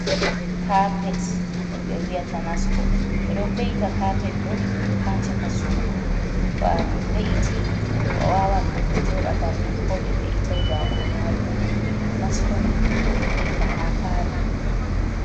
Kapet ɗum ɓe wiyata nasko, ɓe ɗo ve’ita kapet ɗo ha caka suudu to a ve’iti a wawan goɗɗo joɗa bannin ko ɓe ve’itai daago ha doman, nasko ni ɓe ɗo ve’ita ha palo.